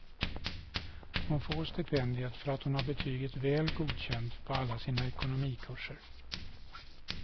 Hon får stipendiet för att hon har betyget väl godkänt på alla sina ekonomikurser.